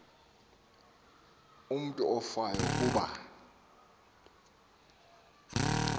umutu ofayo kuba